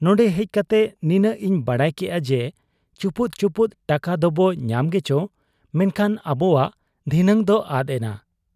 ᱱᱚᱱᱰᱮ ᱦᱮᱡ ᱠᱟᱛᱮ ᱱᱤᱱᱟᱹᱜ ᱤᱧ ᱵᱟᱰᱟᱭ ᱠᱮᱜ ᱟ ᱡᱮ ᱪᱩᱯᱩᱫ ᱪᱩᱯᱩᱫ ᱴᱟᱠᱟ ᱫᱚᱵᱚ ᱧᱟᱢ ᱜᱮᱪᱚ, ᱢᱮᱱᱠᱷᱟᱱ ᱟᱵᱚᱣᱟᱜ ᱫᱷᱤᱱᱟᱹᱝ ᱫᱚ ᱟᱫ ᱮᱱᱟ ᱾